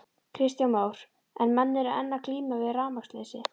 Kristján Már: En menn eru enn að glíma við rafmagnsleysi?